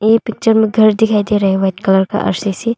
यह पिक्चर में घर दिखाई दे रहा है वाइट कलर का आर_सी_सी ।